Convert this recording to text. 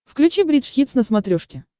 включи бридж хитс на смотрешке